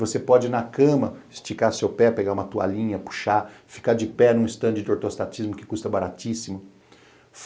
Você pode ir na cama, esticar seu pé, pegar uma toalhinha, puxar, ficar de pé num estande de ortostatismo que custa baratíssimo.